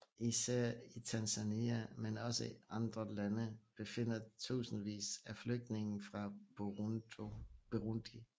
Især i Tanzania men også i andre lande befinder tusindvis af flygtninge fra Burundi